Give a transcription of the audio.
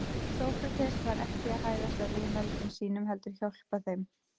Sókrates var ekki að hæðast að viðmælendum sínum heldur hjálpa þeim.